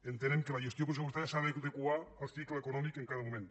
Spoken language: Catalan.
entenem que la gestió pressupostària s’ha d’adequar al cicle econòmic en cada moment